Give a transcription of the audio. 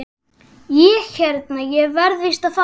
Ég hérna. ég verð víst að fara!